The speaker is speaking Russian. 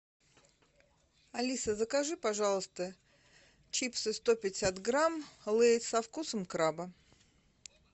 алиса закажи пожалуйста чипсы сто пятьдесят грамм лейс со вкусом краба